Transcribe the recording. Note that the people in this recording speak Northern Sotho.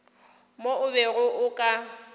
mo o bego o ka